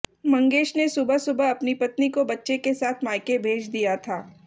मंगेश ने सुबह सुबह अपनी पत्नी को बच्चे के साथ मायके भेज दिया था